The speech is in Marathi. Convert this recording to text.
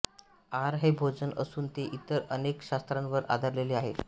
आहार हे भोजन असून ते इतर अनेक शास्त्रांवर आधारलेले आहे